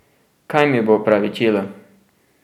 Kaj mi bo opravičilo?